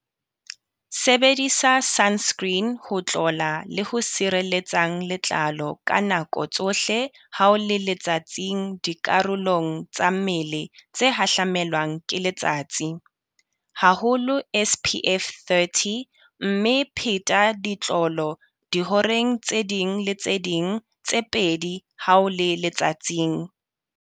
Sebedisa sunscreen ho tlola le ho sirelletsang letlalo ka nako tsohle ha o le letsatsing dikarolong tsa mmele tse hahlamelwang ke letsatsi, haholo SPF 30. Mme phetha ditlolo dihoreng tse ding le tse ding tse pedi ha o le letsatsing.